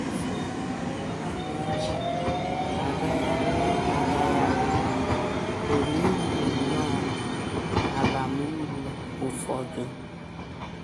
Fon a na - eji agagharị agagharị pụrụ inwe nnọọ abamuru ụfọdụ.